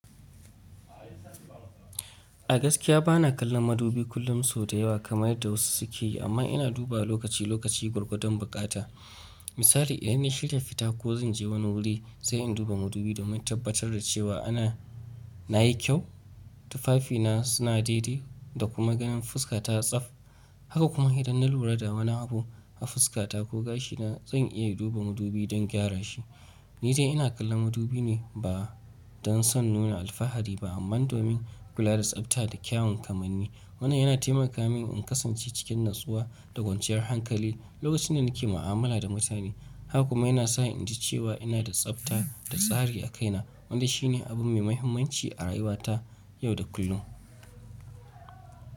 A gaskiya bana kallon madubi kullum sau da yawa kamar yadda wasu suke yi, amma ina duba lokaci lokaci gwargwadon bukata. Misali idan na shirya fita ko zan je wani wuri, sai in duba madubi domin tabbatar da cewa anan nayi kyau, tufafina suna daidai da kuma ganin fuskata ta yi tsaf. Haka kuma idan na lura da wani abu a fuskata ko gashina, zan iya duba madubi don gyara shi. Ni dai ina kallon madubi ne ba don son nuna alfahari ba amma domin kula da tsabta da kyawun kamanni. Wannan yana taimaka min in kasance cikin natsuwa da kwanciyar hankali lokacin da nake mu'amala da mutane. Haka kuma yana sa in ji cewa ina da tsabta da tsari a kaina, wanda shine abu mai muhimmanci a rayuwa ta yau da kullum.